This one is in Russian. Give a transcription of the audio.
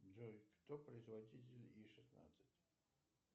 джой кто производитель и шестнадцать